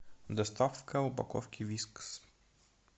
доставка упаковки вискас